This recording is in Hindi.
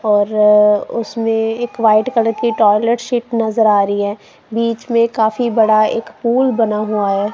और उसमें एक व्हाइट कलर की टॉयलेट सीट नजर आ रही है बीच में काफी बड़ा एक पूल बना हुआ है।